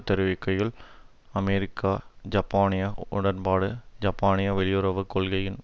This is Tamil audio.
தெரிவிக்கையில் அமெரிக்கா ஜப்பானிய உடன்பாடு ஜப்பானிய வெளியுறவு கொள்கையின்